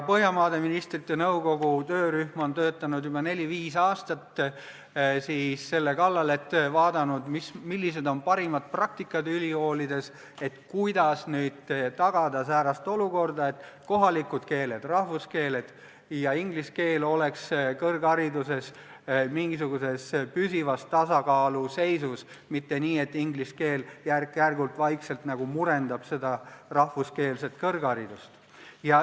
Põhjamaade Ministrite Nõukogu töörühm on juba neli-viis aastat töötanud selle kallal, et vaadata, millised on ülikoolide parimad praktikad, et tagada säärane olukord, et kohalikud keeled, rahvuskeeled, ja inglise keel oleks kõrghariduses mingisuguses püsivas tasakaalus, mitte nii, et inglise keel järk-järgult, vaikselt murendab rahvuskeelset kõrgharidust.